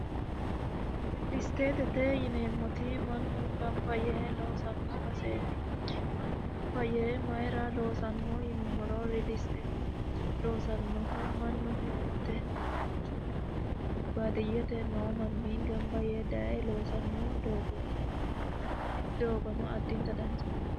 riilisteetete yineemmoti mannu gamba yee loosanno baseeti mannu gamba yee mayira loosanno yinummoro riiliisteete loosannohu mannu heerate quchummoo waye baadiyete noo manni gamba yee daye loosanno doogoti yaate tini doogono addinta danchate